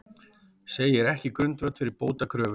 Segir ekki grundvöll fyrir bótakröfu